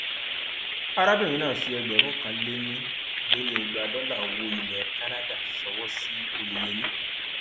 arábìnrin náà fi ẹgbẹrún kan lé ní lé ní igba dọlà owó ilẹ canada ṣọwọ sí oyeyèmí